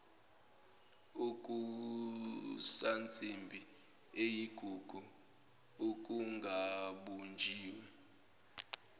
okusansimbi eyigugu okungabunjiwe